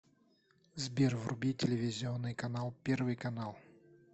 сбер вруби телевизионный канал первый канал